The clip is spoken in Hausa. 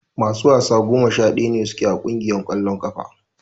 Masu wasa goma sha daya su ke a kungiyar kwallon kafa.